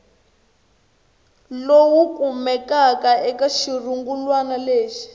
lowu kumekaka eka xirungulwana lexi